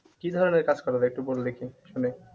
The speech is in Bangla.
কি ধরণের কাজ করা যায় একটু বল দেখি শুনি।